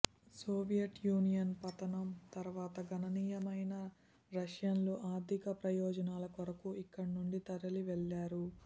Soviet Union పతనం తరువాత గణనీయమైన రష్యన్లు ఆర్థికప్రయోజనాల కొరకు ఇక్కడ నుండి తరలి వెళ్ళారు